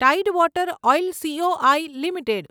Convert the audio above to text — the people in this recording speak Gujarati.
tide water oil C O I limited